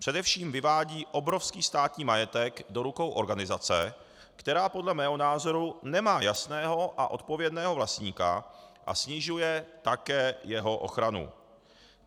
Především vyvádí obrovský státní majetek do rukou organizace, která podle mého názoru nemá jasného a odpovědného vlastníka, a snižuje také jeho ochranu.